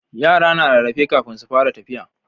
yara na rarrafe kafin su fara tafiya